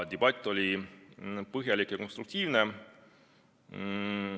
Debatt oli põhjalik ja konstruktiivne.